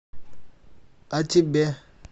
а тебе